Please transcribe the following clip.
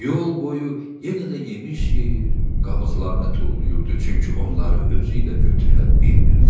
Yol boyu yenə də yemiş yeyir, qabıqlarını tullayırdı, çünki onları özü ilə götürə bilmirdi.